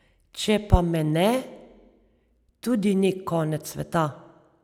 Če pa me ne, tudi ni konec sveta.